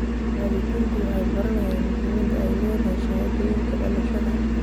Waalidiintu waxay baranayaan muhiimadda ay leedahay shahaadooyinka dhalashada.